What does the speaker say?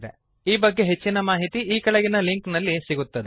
ಈ ಬಗ್ಗೆ ಹೆಚ್ಚಿನ ಮಾಹಿತಿ ಈ ಕೆಳಗಿನ ಲಿಂಕ್ ನಲ್ಲಿ ಸಿಗುತ್ತದೆ